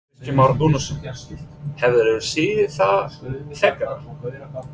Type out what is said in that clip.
Kristján Már Unnarsson: Hefurðu séð það fegurra?